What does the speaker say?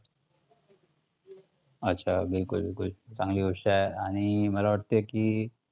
अच्छा, बिलकुल बिलकुल, चांगली गोष्ट आहे आणि मला वाटते की